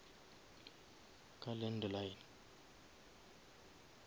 ka landline